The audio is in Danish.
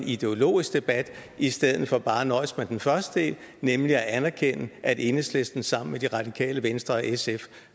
ideologisk debat i stedet for bare at nøjes med den første del nemlig at anerkende at enhedslisten sammen med det radikale venstre og sf